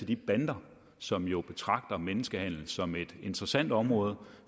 de bander som jo betragter menneskehandel som et interessant område